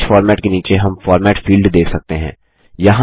page format के नीचे हम फॉर्मेट फील्ड देख सकते हैं